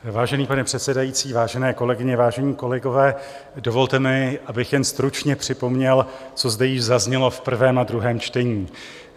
Vážený pane předsedající, vážené kolegyně, vážené kolegové, dovolte mi, abych jen stručně připomněl, co zde již zaznělo v prvém a druhém čtení.